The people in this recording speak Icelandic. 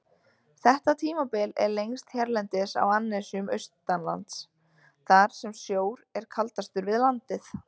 Þetta tímabil er lengst hérlendis á annesjum austanlands, þar sem sjór er kaldastur við landið.